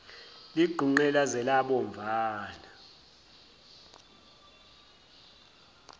ligqunqe laze labomvana